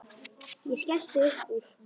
Ég skellti upp úr.